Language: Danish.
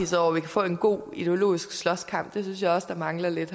så vi kan få en god ideologisk slåskamp det synes jeg også mangler lidt